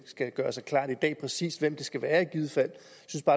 gøre sig klart i dag præcis hvem det skal være i givet fald